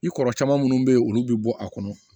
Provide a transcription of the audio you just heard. I kɔrɔ caman minnu bɛ yen olu bɛ bɔ a kɔnɔ